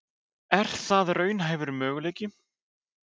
Er það raunhæfur möguleiki?